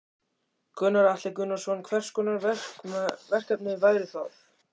Gunnar Atli Gunnarsson: Hvers konar verkefni væru það?